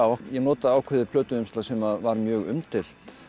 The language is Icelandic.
ég nota ákveðið plötuumslag sem var mjög umdeilt